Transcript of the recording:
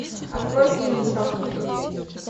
открой фильм чокнутый